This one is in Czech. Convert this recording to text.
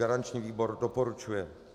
Garanční výbor doporučuje.